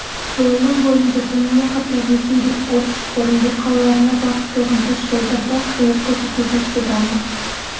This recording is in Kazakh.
жолының бойында сонымен қатар ресейдің орск орынбор қалаларына бағытталған тас жолдарда қызмет көрсету жақсы дамып